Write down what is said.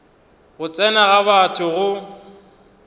go tsena ga batho go